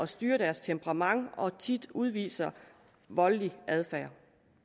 styre deres temperament og tit udviser voldelig adfærd